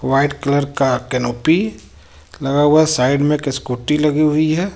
White colour का canopy लगा हुआ है साइड में एक स्कूटी लगी हुई है.